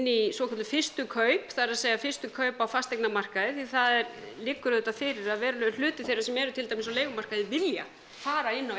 í svokölluð fyrstu kaup það er að fyrstu kaup á fasteignamarkaði það liggur auðvitað fyrir að verulegur hluti þeirra sem eru til dæmis á leigumarkaði vilja fara inn á